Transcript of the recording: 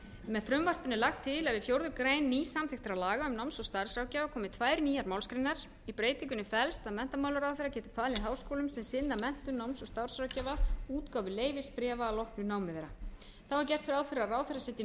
með frumvarpinu er lagt til að við fjórðu grein nýsamþykktra laga um náms og starfsráðgjafa komi tvær nýjar málsgreinar í breytingunni felst að menntamálaráðherra getur falið háskólum sem sinna menntun náms og starfsráðgjafa útgáfu leyfisbréfa að loknu námi þeirra þá er gert ráð fyrir því að ráðherra